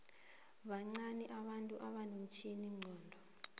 bancani abantu abanomtjhiningcondo